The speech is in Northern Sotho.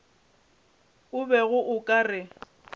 o bego o ka re